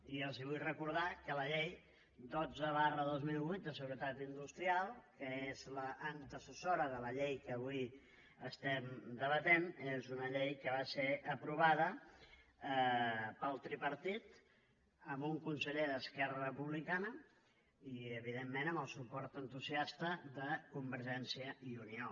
i els vull recordar que la llei dotze dos mil vuit de seguretat industrial que és l’antecessora de la llei que avui estem debatent és una llei que va ser aprovada pel tripartit amb un conseller d’esquerra republicana i evidentment amb el suport entusiasta de convergència i unió